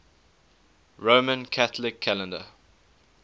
roman catholic calendar